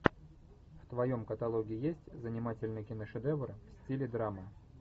в твоем каталоге есть занимательный киношедевр в стиле драмы